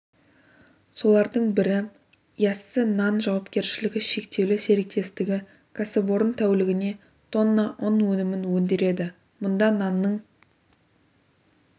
солардың бірі яссы нан жауапкершілігі шектеулі серіктестігі кәсіпорын тәулігіне тонна ұн өнімін өндіреді мұнда нанның